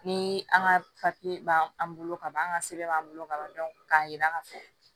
Ni an ka b'an an bolo ka ban an ka sɛbɛn b'an bolo ka ban k'a yira k'a fɔ